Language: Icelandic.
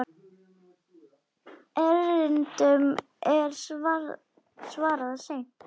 Erindum er svarað seint.